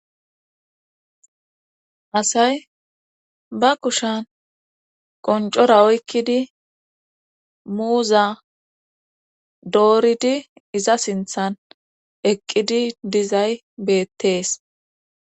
Asay ba kushan qoncora oykkidi muuza dooridi iza sinthan eqqidi dizay beettees.